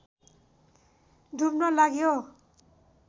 डुब्न लाग्यो